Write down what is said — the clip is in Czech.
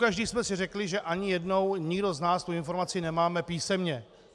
Pokaždé jsme si řekli, že ani jednou nikdo z nás tu informaci nemáme písemně.